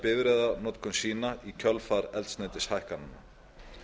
bifreiðanotkun sína í kjölfar eldsneytishækkana